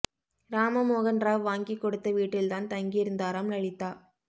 ராம மோகன் ராவ் வாங்கிக் கொடுத்த வீட்டில்தான் தங்கியிருந்தாராம் லலிதா